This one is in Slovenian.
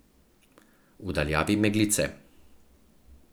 V daljavi meglice.